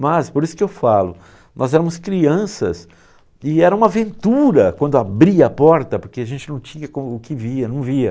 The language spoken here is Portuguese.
Mas, por isso que eu falo, nós éramos crianças e era uma aventura quando abria a porta, porque a gente não tinha o que via, não via.